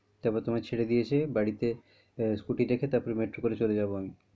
তারপর তোমায় ছেড়ে দিয়ে এসে বাড়িতে আহ scooty রেখে metro করে চলে যাবো আমি।